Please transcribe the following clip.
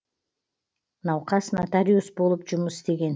науқас нотариус болып жұмыс істеген